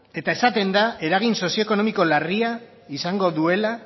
eta esaten da eragin sozioekonomiko larria izango duela